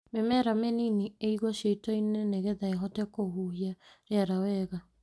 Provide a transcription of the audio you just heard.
Mĩmera mĩnini ĩigwo ciitoinĩ nĩ getha ĩhote kũhujia rĩera wega.